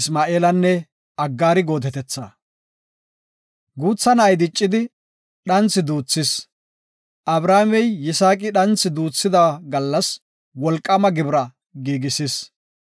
Guutha na7ay diccidi; dhanthi duuthis; Abrahaamey Yisaaqi dhanthi duuthida gallas wolqaama gibira giigisis.